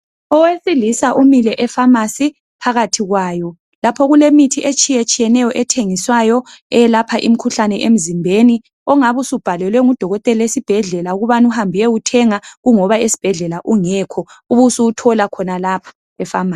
Owesilisa umile efamasi phakathi kwayo, lapho okulemithi etshiyetshiyene ethengiswayo, elapha imikhulhlane emzimbeni, ongabi usubhalelwe ngudokotela ukubana oyowithenga kungoba esibhedla ungekho ubusubuthola khanalapha, efamasi.